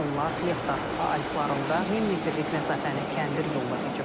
Onlar Lechtar alfalarında 1000 metrlik məsafəni kəndir yolla keçib.